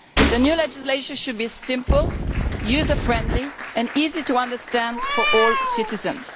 The new legislation should be simple, user friendly and easy to understand for all citizens.